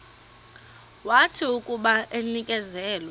wathi akuba enikezelwe